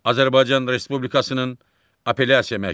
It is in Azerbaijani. Azərbaycan Respublikasının Apellyasiya Məhkəmələri.